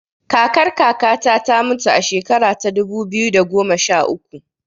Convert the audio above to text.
Kakar kaka ta ta mutu a shekara ta dubu biyu da goma sha uku